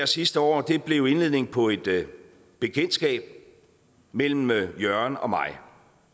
sidste år blev indledningen på et bekendtskab mellem mellem jørgen og mig